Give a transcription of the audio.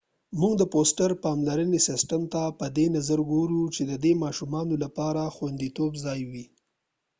موږ د فوسټر پاملرنې سیسټم ته په دې نظر ګورو چې د دې ماشومانو لپاره د خوندیتوب ځای وي